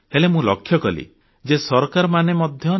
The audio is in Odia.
ହେଲେ ମୁଁ ଲକ୍ଷ୍ୟକଲି ଯେ ସରକାରମାନେ ମଧ୍ୟ ନିଜ